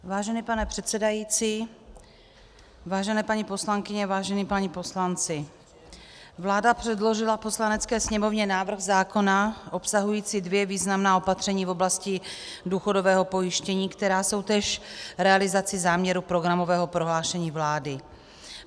Vážený pane předsedající, vážené paní poslankyně, vážení páni poslanci, vláda předložila Poslanecké sněmovně návrh zákona obsahující dvě významná opatření v oblasti důchodového pojištění, která jsou též realizací záměru programového prohlášení vlády.